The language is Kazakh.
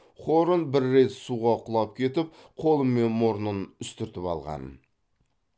хорн бір рет суға құлап кетіп қолы мен мұрнын үстіртіп алған